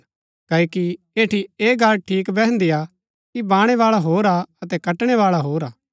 क्ओकि ऐठी ऐह गल्ल ठीक बैहन्दी हा कि बाणैबाळा होर हा अतै कटणैबाळा होर हा